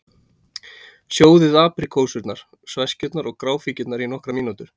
Sjóðið apríkósurnar, sveskjurnar og gráfíkjurnar í nokkrar mínútur.